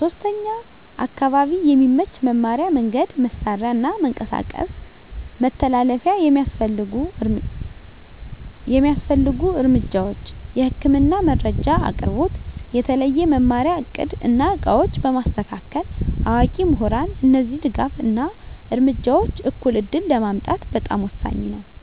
3. አካባቢ የሚመች መማሪያ መንገድ፣ መሳሪያ እና መንቀሳቀስ መተላለፊያ የሚያስፈልጉ እርምጃዎች፦ የህክምና መረጃ አቅርቦት፣ የተለየ መማሪያ እቅድ እና ዕቃዎች በማስተካከል፣ አዋቂ ምሁራን እነዚህ ድጋፍ እና እርምጃዎች እኩል ዕድል ለማምጣት በጣም ወሳኝ ናቸው።